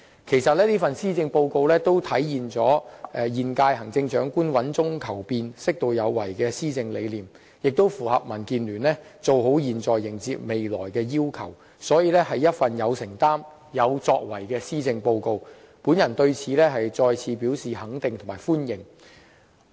其實這份施政報告體現了現任行政長官穩中求變，適度有為的施政理念，亦符合民主建港協進聯盟"做好現在，迎接未來"的要求，所以，是一份有承擔和有作為的施政報告，我對此再次表示肯定和歡迎。